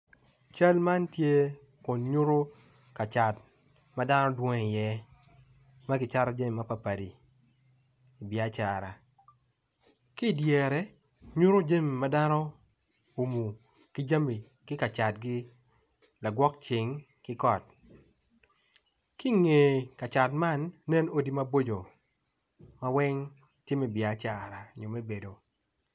Cal man tye kun nyuto kacat kama dano dwong i iye ma ki cato jami mapadipadi i biacara ki idyere nyuto jami ma dano umu ki jami ki kacatgi lagwok cing ki kot ki inge kacat man nen odi maboco ma weng tye me biacara nyo me bedo